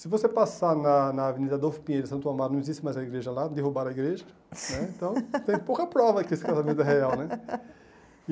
Se você passar na na Avenida Adolfo Pinheiro de Santo Amaro, não existe mais a igreja lá, derrubaram a igreja né, então tem pouca prova que esse casamento é real né.